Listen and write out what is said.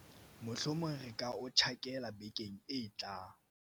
mohlomong re ka o tjhakela vekeng e tlang